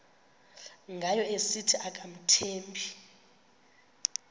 ngayo esithi akamthembi